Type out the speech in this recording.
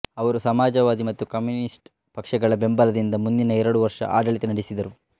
ಅವರು ಸಮಾಜವಾದಿ ಮತ್ತು ಕಮ್ಯೂನಿಸ್ಟ್ ಪಕ್ಷಗಳ ಬೆಂಬಲದಿಂದ ಮುಂದಿನ ಎರಡು ವರ್ಷ ಆಡಳಿತ ನಡೆಸಿದರು